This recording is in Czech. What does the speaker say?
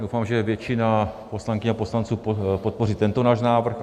Doufám, že většina poslankyň a poslanců podpoří tento náš návrh.